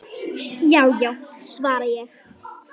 Já já, svara ég.